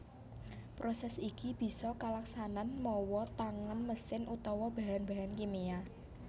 Prosès iki bisa kalaksanan mawa tangan mesin utawa bahan bahan kimia